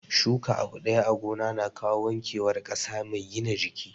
Shuka abu ɗaya a gona na kawo wanke war ƙasa mai gina jiki